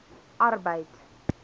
arbeid